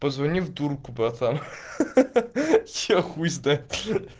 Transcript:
позвони в дурку братан ха-ха я хуй знает